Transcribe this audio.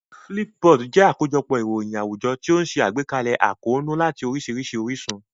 Flipboard jẹ́ àkójọpọ̀ ìròyìn àwùjọ tí ó ń ṣe àgbékalẹ̀ àkóónú láti oríṣiríṣi orísun.